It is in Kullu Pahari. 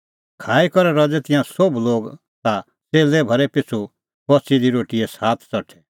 खाई करै रज़ै तिंयां सोभ लोग ता च़ेल्लै भरै पिछ़ू बच़ी दी रोटीए सात च़ठै